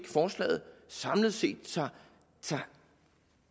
forslaget samlet set